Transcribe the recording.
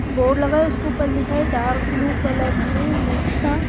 board लगा है उसके ऊपर लिखा है डार्क ब्लू कलर से नेक्सा --